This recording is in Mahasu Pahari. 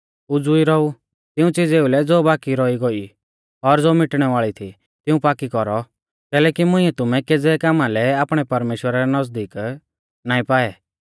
उज़ीई रौऔ तिऊं च़ीज़ेउ लै ज़ो बाकी रौई गोई ई और ज़ो मिटणै वाल़ी थी तिऊं पाक्की कौरौ कैलैकि मुंइऐ तुमै केज़ै कामा लै आपणै परमेश्‍वरा रै नज़दीक नाईं पाऐ